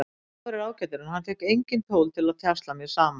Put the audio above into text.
Dagur er ágætur en hann fékk engin tól til að tjasla mér saman.